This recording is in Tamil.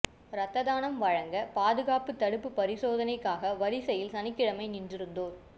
ரத்தானம் வழங்க பாதுகாப்பு தடுப்பு பரிசோதனைக்காக வரிசையில் சனிக்கிழமை காத்திருந்தோர்